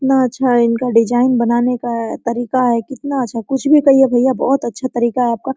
इतना अच्छा इनका डिजाइन बनाने का तरीका है कितना अच्छा कुछ भी कहिए भैया बहुत अच्छा तरीका है आपका--